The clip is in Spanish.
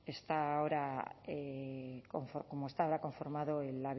está ahora como está ahora conformado el